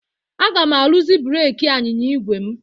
Aga m arụzi breeki anyịnya igwe m.